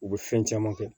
U bɛ fɛn caman kɛ